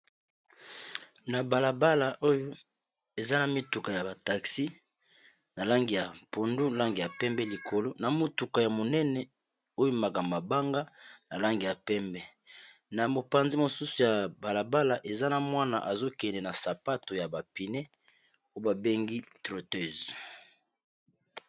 na balabala oyo eza na mituka ya bataxi na langi ya pondu lange ya pembe likolo na motuka ya monene oyo makamabanga na langi ya pembe na mopanzi mosusu ya balabala eza na mwana azokende na sapato ya bapine oyo babengi troteuse